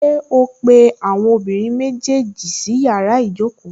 Ṣé ó pé àwọn ọmọbìnrin méjèèjì sí yàrá ìjókòó?